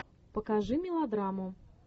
покажи мелодраму